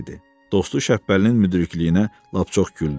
Dostu Şəppəlinin müdrikliyinə lap çox güldü.